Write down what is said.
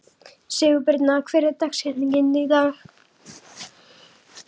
Sigurbirna, hver er dagsetningin í dag?